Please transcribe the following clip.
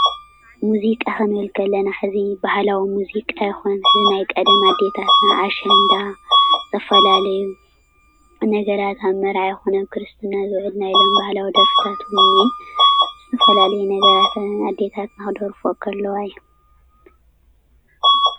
ሙዚቃ ክንብል ከለና ሕዚ ባህላዊ ሙዚቃ ይኹን፣ ናይ ቀደም ኣዴታት ኣሸንዳ; ተፈላለዩ ነገራት ኣብ መርዓ ይኹን ኣብ ክርስትና ዝናይ ሎሚ ባህላዊ ደርፍታት እውን እኒሀ ተፈላለየ ነገራት ኣዴታትና ክደርፎኦ ከለዋ እዩ፡፡